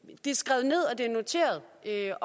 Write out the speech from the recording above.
er